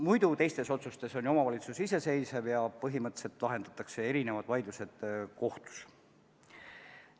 Muudes otsustes on ju omavalitsus iseseisev ja põhimõtteliselt lahendatakse vaidlused kohtus.